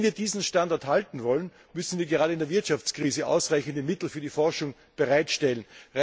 Wenn wir diesen Standard halten wollen, müssen wir gerade in der Wirtschaftskrise ausreichende Mittel für die Forschung bereitstellen.